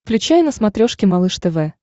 включай на смотрешке малыш тв